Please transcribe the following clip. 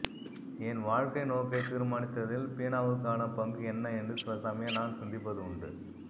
என் வாழ்க்கைநோக்கைத் தீர்மானித்ததில் பீனாவுக்கான பங்கு என்ன என்று சிலசமயம் நான் சிந்திப்பது உண்டு